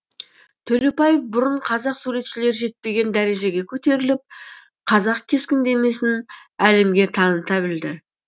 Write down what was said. төлепбаев бұрын қазақ суретшілері жетпеген дәрежеге көтеріліп қазақ кескіндемесін әлемге таныта білді